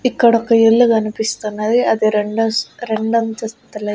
ఇక్కడ ఒక ఇల్లు కనిపిస్తున్నది అది రెండో రెండంతస్తుల ఇ--